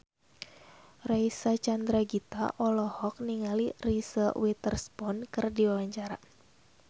Reysa Chandragitta olohok ningali Reese Witherspoon keur diwawancara